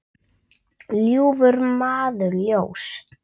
ljúfur maður ljóss.